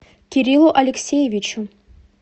кириллу алексеевичу